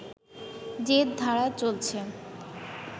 যে ধারা চলছে